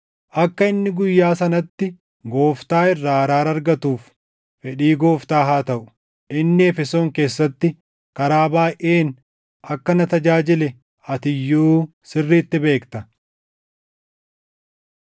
Akka inni guyyaa sanatti Gooftaa irraa araara argatuuf fedhii Gooftaa haa taʼu! Inni Efesoon keessatti karaa baayʼeen akka na tajaajile ati iyyuu sirriitti beekta.